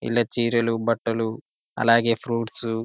ఇలా చీరలు బట్టలు అలాగే ఫ్రూట్స్ --